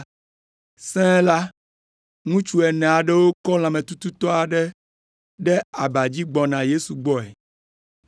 Sẽe la, ŋutsu ene aɖewo kɔ lãmetututɔ aɖe ɖe aba dzi gbɔna Yesu gbɔe.